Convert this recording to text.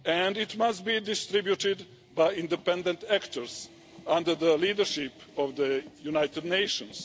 It must be distributed by independent actors under the leadership of the United Nations.